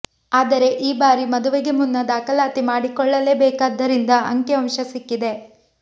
ಆದರೆ ಈ ಬಾರಿ ಮದುವೆಗೆ ಮುನ್ನ ದಾಖಲಾತಿ ಮಾಡಿಕೊಳ್ಳಲೇಬೇಕಾಗಿದ್ದರಿಂದ ಅಂಕಿಅಂಶ ಸಿಕ್ಕಿದೆ